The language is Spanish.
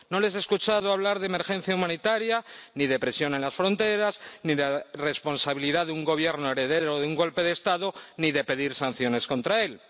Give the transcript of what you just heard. No les he escuchado hablar de emergencia humanitaria, ni de presión en las fronteras, ni de responsabilidad de un Gobierno heredero de un golpe de Estado, ni de pedir sanciones contra él.